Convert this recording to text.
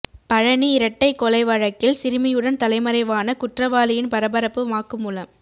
பழநி இரட்டை கொலை வழக்கில் சிறுமியுடன் தலைமறைவான குற்றவாளியின் பரபரப்பு வாக்குமூலம்